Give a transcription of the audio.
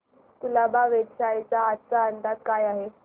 कुलाबा वेधशाळेचा आजचा अंदाज काय आहे